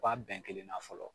Kuwa bɛn kelen na fɔlɔ